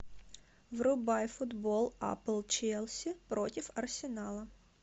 врубай футбол апл челси против арсенала